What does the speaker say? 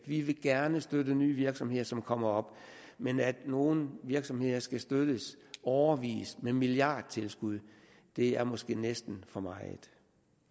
vi vil gerne støtte nye virksomheder som kommer op men at nogle virksomheder skal støttes i årevis med milliardtilskud er måske næsten for meget